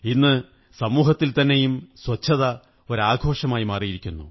ഇന്ന് സമൂഹത്തില്ത്തമന്നെയും സ്വച്ഛത ഒരു ആഘോഷമായി മാറിയിരിക്കുന്നു